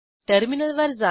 टर्मिनलवर जा